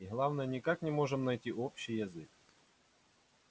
и главное никак не можем найти общий язык